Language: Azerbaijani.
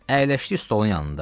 Əyləşdi stolun yanında.